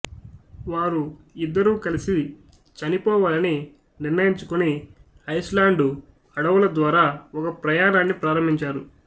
వారు ఇద్దరూ కలిసి చనిపోవాలని నిర్ణయించుకుని ఐస్లాండు అడవుల ద్వారా ఒక ప్రయాణాన్ని ప్రారంభించారు